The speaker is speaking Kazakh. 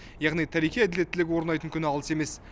яғни тарихи әділеттілік орнайтын күн алыс емес